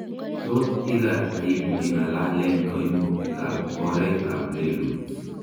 Tot irat aibu ingalalen koimutika ab oret ab letut